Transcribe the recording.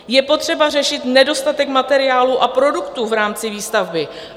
Je potřeba řešit nedostatek materiálu a produktů v rámci výstavby.